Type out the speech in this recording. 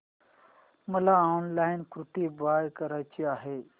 मला online kurti buy करायची आहे